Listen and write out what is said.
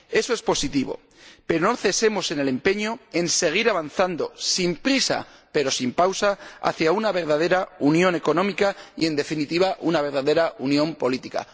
Eso es positivo, pero no cesemos en el empeño, en seguir avanzando, sin prisa pero sin pausa, hacia una verdadera unión económica y, en definitiva, una verdadera unión política.